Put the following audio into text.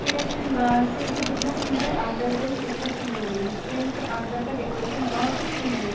ये रेस्टोरेंट बाहर से भी जितना सुंदर है अंदर से भी उतना सुंदर है रेस्टोरेंट के अंदर का डेकोरेशन बहुत ही सुंदर है।